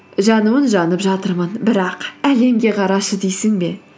жануын жанып жатырмын бірақ әлемге қарашы дейсің бе